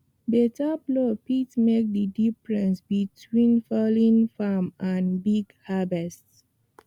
better plow fit make the difference between failed farm and big harvest